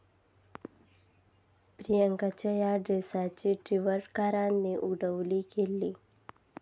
प्रियांकाच्या या ड्रेसची टि्वटरकरांनी उडवली खिल्ली